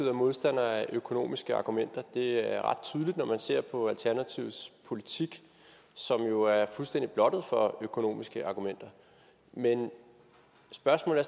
er modstander af økonomiske argumenter det er ret tydeligt når man ser på alternativets politik som jo er fuldstændig blottet for økonomiske argumenter men spørgsmålet